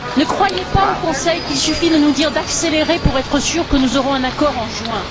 Ne croyez pas, au Conseil, qu'il suffit de nous dire d'accélérer pour être sûr que nous aurons un accord en juin.